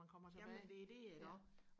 jamen det er det iggå